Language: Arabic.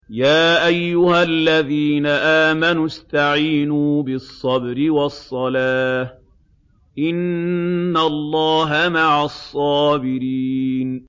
يَا أَيُّهَا الَّذِينَ آمَنُوا اسْتَعِينُوا بِالصَّبْرِ وَالصَّلَاةِ ۚ إِنَّ اللَّهَ مَعَ الصَّابِرِينَ